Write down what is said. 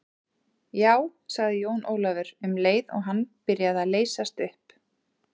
Já, sagði Jón Ólafur, um leið og hann byrjaði að leysast upp.